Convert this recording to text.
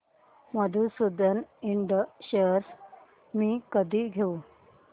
Madhusudan and shares मी कधी घेऊ